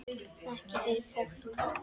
Ekki fyrir fólk?